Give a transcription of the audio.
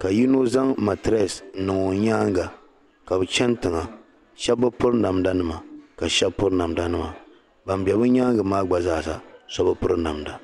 ka yino zaŋ matires n niŋ o nyaaga ka bɛ chani tiŋa shɛb bɛ piri damda nima ka shɛb piri namda nima ban be bɛ nyaaŋa gba zaa ha so bi piri namda